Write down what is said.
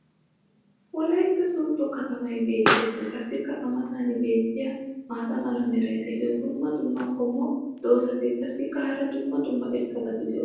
wolaytta soodo kattamay beetees qassi a matan beetiya maata mala meray diyo dumma dumma qommo dozzati qassikka hara dumma dumma irxxabati doosona.